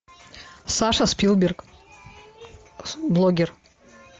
саша спилберг блоггер